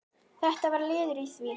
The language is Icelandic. Þetta var liður í því.